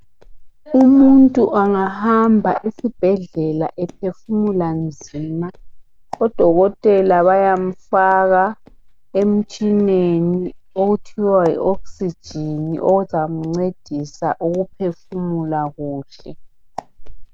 Umuntu angahamba esibhedlela ephefumula nzima odokotela bayamfaka emtshineni okuthiwa yi okisijini ozamncedisa ukuphefumula kuhle.